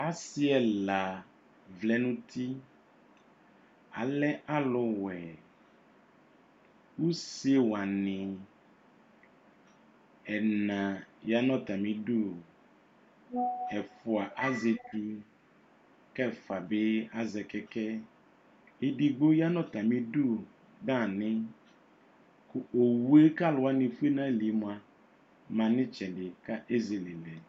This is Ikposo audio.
Asi ɛla vlɛ nu uti alɛ alu wɛ usewani ɛ na ya nu atamidu ɛfua azɛ ɛtu kɛfua bi azɛ kɛkɛ edigbo ya nu atamidu dani owu ku aluwani efue nu ayili yɛ mua ma nu itsɛdi